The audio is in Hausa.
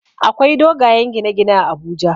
Akwai dogayen gine gine a Abuja